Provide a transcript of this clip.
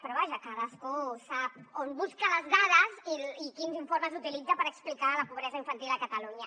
però vaja cadascú sap on busca les dades i quins informes utilitza per explicar la pobresa infantil a catalunya